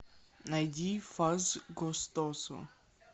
найди фаз гостосо